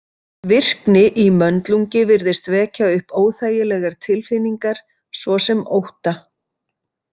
Virkni í möndlungi virðist vekja upp óþægilegar tilfinningar svo sem ótta.